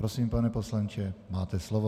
Prosím, pane poslanče, máte slovo.